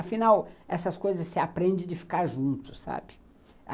Afinal, essas coisas se aprendem de ficar junto, sabe?